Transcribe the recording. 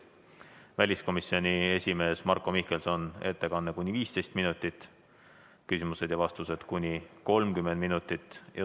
Väliskomisjoni esimehe Marko Mihkelsoni ettekanne on kuni 15 minutit, küsimused ja vastused kuni 30 minutit.